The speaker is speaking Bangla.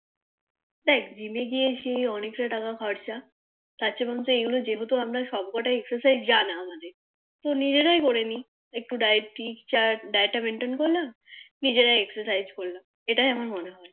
দেখ Gym এ গিয়ে তো অনেকটা টাকা খরচা তারচেয়ে বরুণচ এগুলো যেহতু আমরা সবকোটায় Exercise জানা তো নিজেরাই জানি একটু diet chart diet টা Exercise করলে নিজেরাই Exercise করলো এটাই মনে হয়